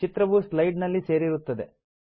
ಚಿತ್ರವು ಸ್ಲೈಡ್ ನಲ್ಲಿ ಸೇರಿರುತ್ತದೆ